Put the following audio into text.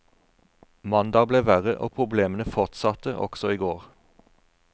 Mandag ble verre, og problemene fortsatte også i går.